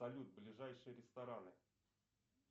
салют ближайшие рестораны